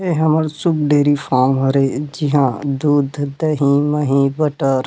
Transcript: ए हमर सुग़ dairy farm हरे जीहा दूध दही महि बटर --